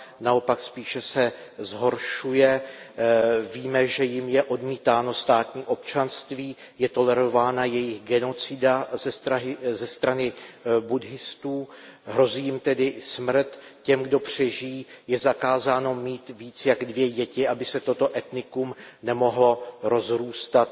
Naopak, spíše se zhoršuje, víme, že jim je odmítáno státní občanství, je tolerována jejich genocida ze strany budhistů, hrozí jim tedy smrt. Těm, kdo přežijí, je zakázáno mít více než dvě děti, aby se toto etnikum nemohlo rozrůstat.